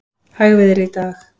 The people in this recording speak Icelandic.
Hægviðri í dag